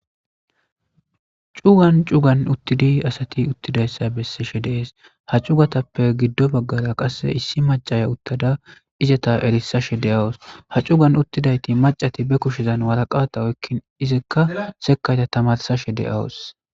Cugan cugan uttidi asati uttidaysa besishe des ha cugatappe qase issi macaya uttada izeta erisashe de'awus ha cugan uttidayti macashati be kushen waraqata oykin izaka sekata tamarsashe de'awus